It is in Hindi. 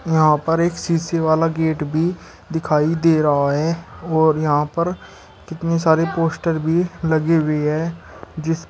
यहां पर एक सीसे वाला गेट भी दिखाई दे रहा है और यहां पर कितने सारे पोस्टर भी लगी हुई है जिस--